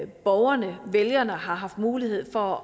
borgerne vælgerne har haft mulighed for